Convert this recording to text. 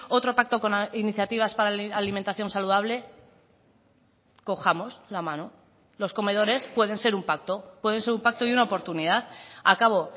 otro pacto con iniciativas para alimentación saludable cojamos la mano los comedores pueden ser un pacto pueden ser un pacto y una oportunidad acabo